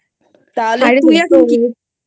তাহলে তুই এখন কি?